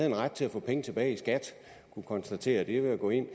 en ret til at få penge tilbage i skat og kunne konstatere det ved at gå ind